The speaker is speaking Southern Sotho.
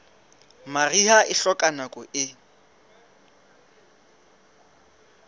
mariha e hloka nako e